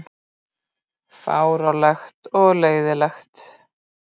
Fáránlegt og leiðinlegt